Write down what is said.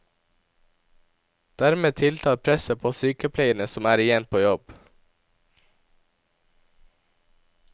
Dermed tiltar presset på sykepleierne som er igjen på jobb.